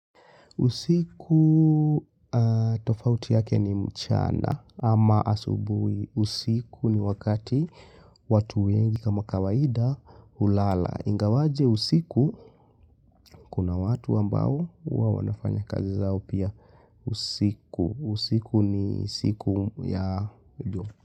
Usiku tofauti yake ni mchana ama asubuhi. Usiku ni wakati watu wengi kama kawaida hulala. Ingawaje usiku kuna watu ambao huwa wanafanya kazi zao pia usiku. Usiku ni siku ya.